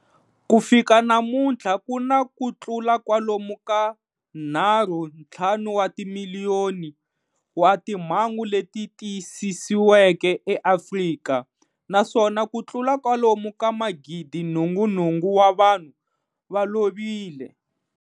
Ku fika namuntlha ku na ku tlula kwalomu ka 3.5 wa timiliyoni wa timhangu leti tiyisisiweke eAfrika, naswona ku tlula kwalomu ka 88,000 wa vanhu va lovile.